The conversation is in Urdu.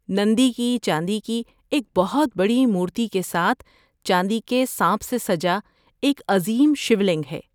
‏نندی کی چاندی کی ایک بہت بڑی مورتی کے ساتھ چاندی کے سانپ سے سجا ایک عظیم شیو لنگ ہے